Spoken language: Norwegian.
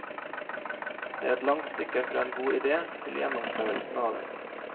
Det er et langt stykke fra en god idé til gjennomførelsen av den.